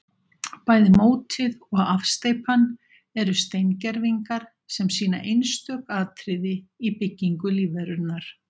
Bæði mótið og afsteypan eru steingervingar sem sýna einstök atriði í byggingu lífverunnar.